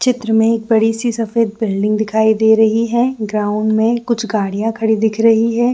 चित्र में बड़ी सी सफ़ेद बिल्डिंग दिखाई दे रही है ग्राउंड में कुछ गाड़िया खड़ी दिख रही है।